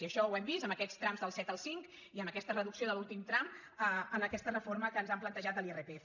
i això ho hem vist amb aquests trams del set al cinc i amb aquesta reducció de l’últim tram en aquesta reforma que ens han plantejat de l’irpf